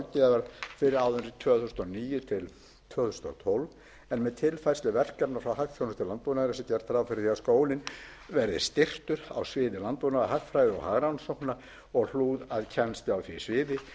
sérhæfðrar ráðgjafar fyrir árin tvö þúsund og níu til tvö þúsund og tólf en með tilfærslu verkefna frá hagþjónustu landbúnaðarins er gert ráð fyrir því að skólinn verði styrktur á sviði landbúnaðarhagfræði og hagrannsókna og hlúð að kennslu á því sviði